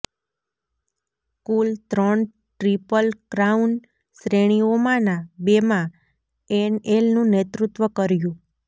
કુલ ત્રણ triple crown શ્રેણીઓમાંના બેમાં એનએલનું નેતૃત્વ કર્યું